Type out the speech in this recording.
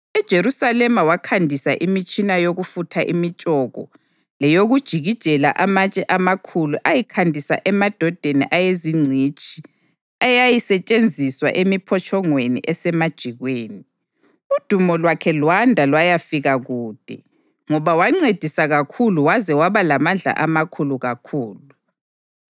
EJerusalema wakhandisa imitshina yokufutha imitshoko leyokujikijela amatshe amakhulu ayikhandisa emadodeni ayezingcitshi eyayisetshenziswa emiphotshongweni esemajikweni. Udumo lwakhe lwanda lwayafika kude, ngoba wancediswa kakhulu waze waba lamandla amakhulu kakhulu.